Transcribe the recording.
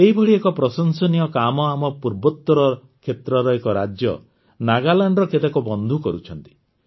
ଏହିଭଳି ଏକ ପ୍ରଶଂସନୀୟ କାମ ଆମ ପୂର୍ବୋତର କ୍ଷେତ୍ରର ଏକ ରାଜ୍ୟ ନାଗାଲାଣ୍ଡର କେତେକ ବନ୍ଧୁ କରୁଛନ୍ତି